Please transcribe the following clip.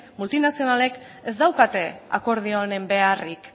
multinazionalek ez daukate akordio honen beharrik